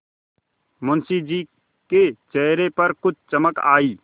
मुंशी जी के चेहरे पर कुछ चमक आई